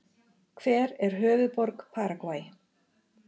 Hver er höfuðborg Paragvæ?